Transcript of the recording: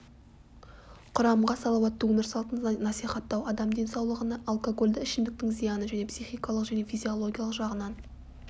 құрамға салауатты өмір салтын насихаттау адам денсаулығына алкогольді ішімдіктің зияны және психикалық және физиологиялық жағынан